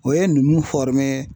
O ye numu